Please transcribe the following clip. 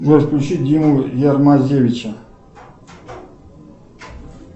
джой включи диму ярмазевича